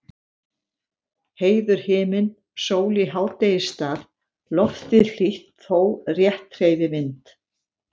Heiður himinn, sól í hádegisstað, loftið hlýtt þó rétt hreyfi vind.